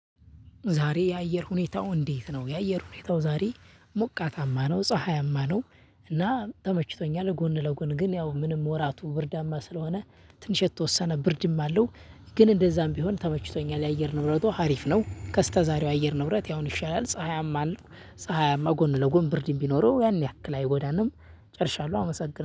ዛሬ የአየር ሁኔታው እንዴት ነው? የአየር ሁኔታው ዛሬ ሞቃታማ ነው ፀሀያማ ነው እና ተመችቶኛል ጎን ለጎን ግን ያው ምንም ወራቱ ብርዳማ ስለሆነ ትንሽ የተወሰነ ብርድም አለው። ግን እንደዛም ቢሆን ተመችቶኛል የአየር ንብረቱ ሀሪፍ ነው። ከስተዛሬው የአየር ንብረት የአሁን ይሻላል ፀሀያማ አለው። ፀሀያማ ጎን ለጎን ብርድም ቢኖረው ያን ያክል አይጎዳንም። ጨርሻለሁ አመሰግናለሁ